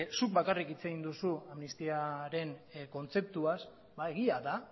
zuk bakarrik hitz egin duzu amnistiaren kontzeptuaz ba egia da